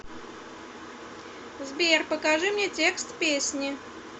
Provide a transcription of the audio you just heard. сбер покажи мне текст песни